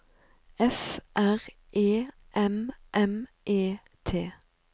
F R E M M E T